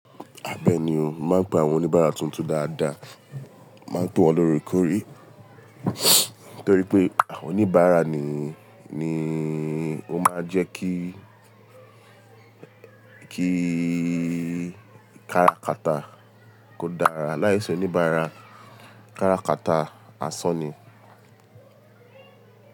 Bẹeni o, mo máa ń pe àwọn oníbàárà tuntun dáadáa, mo máa ń pe wọn lóre kore. Nítorí pé àwọn oníbàárà ni, ni ó máa ń jẹ́ kí, kí kára kata kò dára. Láìsí oníbàárà, kára kata àsán ni.